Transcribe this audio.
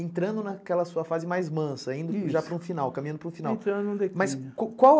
entrando naquela sua fase mais mansa, indo já para um final, caminhando para um final.